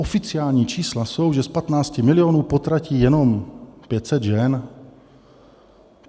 Oficiální čísla jsou, že z 15 milionů potratí jenom 500 žen.